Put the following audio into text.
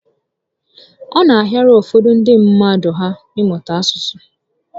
Ọ na ahịara ụfọdụ ndị mmadụ ahụ ịmụta otu asụsụ